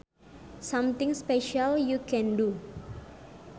Something special you can do